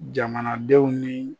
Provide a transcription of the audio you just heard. Jamanadenw ni.